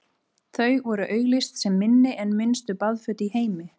þau voru auglýst sem „minni en minnstu baðföt í heimi“